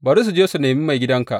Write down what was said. Bari su je su nemi maigidanka.